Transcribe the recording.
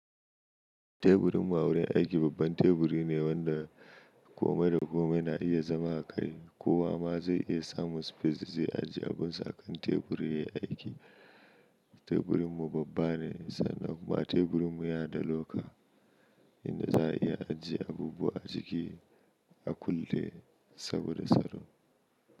Teburin mu a wurin aiki babban teburi ne wanda komai da komai na iya zama a kai. Kowa ma zai iya samun space da zai ajiye abunsa akan teburin ya yi aiki. Teburin mu babba ne sannan kuma teburin mu yana da loka. Inda za a iya ajiye abubuwa a ciki. A kulle saboda tsaro.